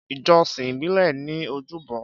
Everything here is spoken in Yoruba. Ìjọsìn ìbílẹ̀ ní ojúbọ